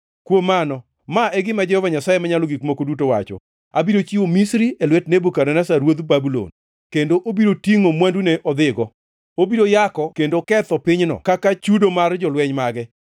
Kuom mano, ma e gima Jehova Nyasaye Manyalo Gik Moko Duto wacho: Abiro chiwo Misri e lwet Nebukadneza ruodh Babulon, kendo obiro tingʼo mwandune odhigo. Obiro yako kendo oketho pinyno kaka chudo mar jolweny mage.